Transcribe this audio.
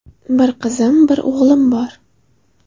Bir qiz, bir o‘g‘lim bor.